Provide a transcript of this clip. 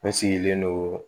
Ne sigilen don